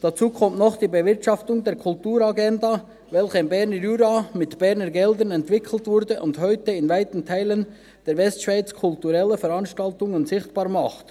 Hinzu kommt noch die Bewirtschaftung der Kulturagenda, die im Berner Jura mit Berner Geld entwickelt wurde und heute in weiten Teilen der Westschweiz kulturelle Veranstaltungen sichtbar macht.